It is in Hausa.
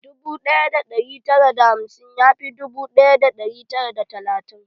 Dubu ɗaya da ɗari tara da hamsin ya fi dubu ɗaya da ɗari tara da talatin.